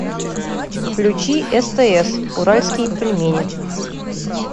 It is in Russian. включи стс уральские пельмени